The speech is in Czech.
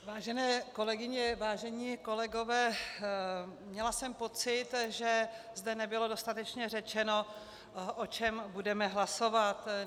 Vážené kolegyně, vážení kolegové, měla jsem pocit, že zde nebylo dostatečně řečeno, o čem budeme hlasovat.